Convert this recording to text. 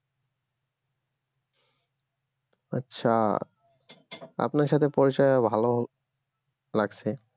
আচ্ছা আপনার সাথে পরিচয় হয়ে ভালো লাগছে